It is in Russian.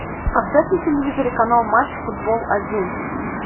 поставь на телевизоре канал матч футбол один